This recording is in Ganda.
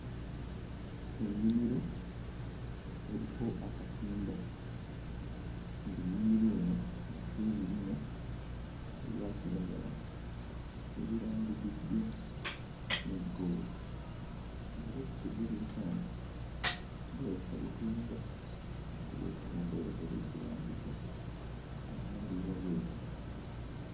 Ennimiro eriko akatimba ng'ennimiro eno eriko ebirime ebya kiragala ebirandiziddwa ne ggoozi era kiteeberezeka nti bulabika butunda, kuba obutunda bwe batera okulandiza mu nnandiza bw'eti.